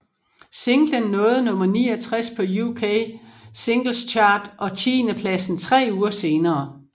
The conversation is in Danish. Singlen nåede nummer 69 på UK Singles Chart og tiendepladsen tre uger senere